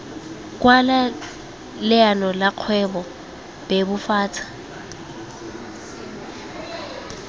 kwala leano la kgwebo bebofatsa